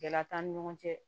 Gɛlɛya t'an ni ɲɔgɔn cɛ